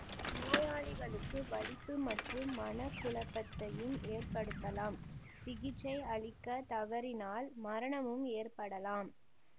நோயாளிகளுக்கு வலிப்பு மற்றும் மன குழப்பத்தையும் ஏற்படுத்தலாம் சிகிச்சை அளிக்கத் தவறினால் மரணமும் ஏற்படலாம்